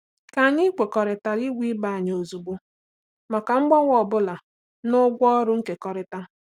Ka anyị kwekọrịta ịgwa ibe anyị ozugbo maka mgbanwe ọ bụla na ụgwọ ọrụ nkekọrịta.